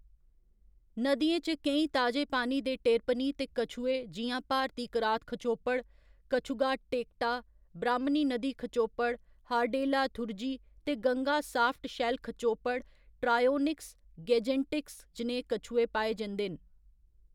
नदियें च केईं ताजे पानी दे टेरपनि ते कछुए जि'यां भारती करात खचोपड़, कछुगा टेक्टा, ब्राह्‌‌मनी नदी खचोपड़, हार्डेला थुरजी, ते गंगा साफ्ट शैल्ल खचोपड़, ट्रायोनिक्स गैंजेटिकस जनेह्‌ कछुए पाए जंदे न।